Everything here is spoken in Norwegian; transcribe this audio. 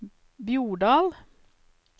Bjordal